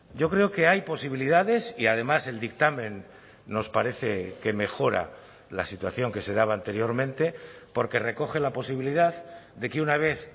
yo creo que hay posibilidades y además el dictamen nos parece que mejora la situación que se daba anteriormente porque recoge la posibilidad de que una vez